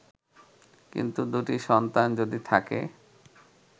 কিন্তু দুটি সন্তান যদি থাকে